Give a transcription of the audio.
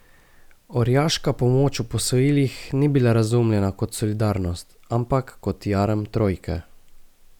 Orjaška pomoč v posojilih ni bila razumljena kot solidarnost, ampak kot jarem trojke.